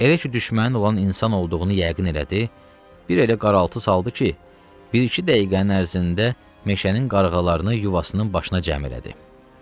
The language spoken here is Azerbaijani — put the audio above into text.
Elə ki düşməni olan insan olduğunu yəqin elədi, bir elə qaraltı saldı ki, bir-iki dəqiqənin ərzində meşənin qarğalarını yuvasının başına cəm elədi.